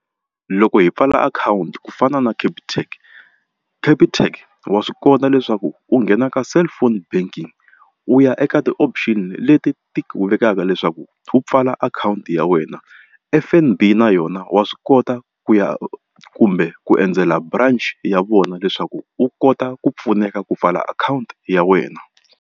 Loko hi pfala akhawunti ku fana na Capitec Capitec wa swi kota leswaku u nghena ka cellphone banking u ya eka ti-option leti ti wu vekaka leswaku u pfala akhawunti ya wena F_N_B na yona wa swi kota ku ya kumbe ku endzela branch ya vona leswaku u kota ku pfuneka ku pfala akhawunti ya wena.